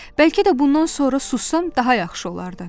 Bəlkə də bundan sonra sussam daha yaxşı olardı.